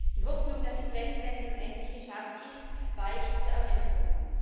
Die Hoffnung, dass die Trendwende nun endlich geschafft ist, weicht der Ernüchterung.